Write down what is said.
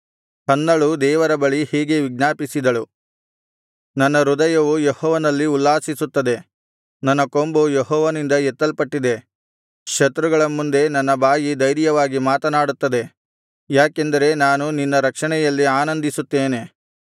ಹನ್ನಳು ದೇವರ ಬಳಿ ಹೀಗೆ ವಿಜ್ಞಾಪಿಸಿದಳು ನನ್ನ ಹೃದಯವು ಯೆಹೋವನಲ್ಲಿ ಉಲ್ಲಾಸಿಸುತ್ತದೆ ನನ್ನ ಕೊಂಬು ಯೆಹೋವನಿಂದ ಎತ್ತಲ್ಪಟ್ಟಿದೆ ಶತ್ರುಗಳ ಮುಂದೆ ನನ್ನ ಬಾಯಿ ಧೈರ್ಯವಾಗಿ ಮಾತನಾಡುತ್ತದೆ ಯಾಕೆಂದರೆ ನಾನು ನಿನ್ನ ರಕ್ಷಣೆಯಲ್ಲಿ ಆನಂದಿಸುತ್ತೇನೆ